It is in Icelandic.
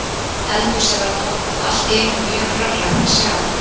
Eldhúsið var tómt og allt í einu mjög hrörlegt að sjá